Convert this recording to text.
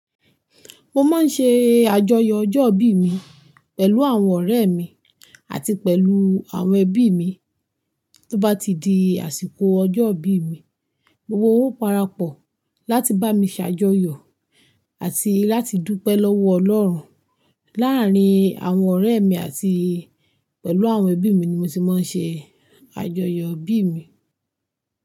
Mo máa ń ṣe àjọyọ̀ ọjọ́ ìbí mi pẹ̀lú àwọn ọ̀rẹ́ mi àti pẹ̀lú àwọn ẹbí mi. Tó bá ti di àsìkò ọjọ́ ìbí mi, gbogbo wọn ó parapọ̀ láti bá mi ṣàjọyọ̀ àti láti dúpẹ́ lọ́wọ́ Ọlọ́run. Láàárín àwọn ọ̀rẹ́ mi àti pẹ̀lú àwọn ẹbí mi ni mo ti máa ń ṣe àjọyọ̀ ìbí mi.